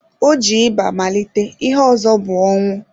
O ji ịba malite, ihe ọzọ bụ ọnwụ.